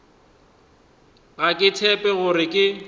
ga ke tshepe gore ke